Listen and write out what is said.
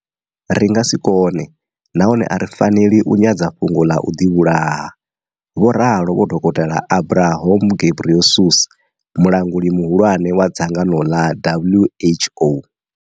Ri nga si kone nahone a ri faneli u nyadza fhungo ḽa u ḓivhulaha, vho ralo vho dokotela Adhanom Ghebreyesus, mulangi muhulwane wa dzangano ḽa WHO.